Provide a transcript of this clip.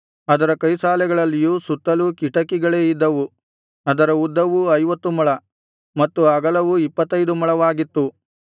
ಅದರ ಕೈಸಾಲೆಗಳಲ್ಲಿಯೂ ಸುತ್ತಲೂ ಕಿಟಕಿಗಳೇ ಇದ್ದವು ಅದರ ಉದ್ದವೂ ಐವತ್ತು ಮೊಳ ಮತ್ತು ಅಗಲವೂ ಇಪ್ಪತ್ತೈದು ಮೊಳವಾಗಿತ್ತು